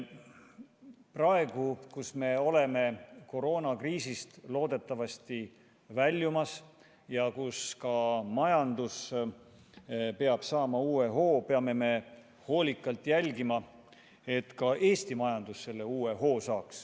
Praegu, kui me oleme koroonakriisist loodetavasti väljumas ja majandus peab saama uue hoo, peame hoolikalt jälgima, et Eesti majandus selle uue hoo ka saaks.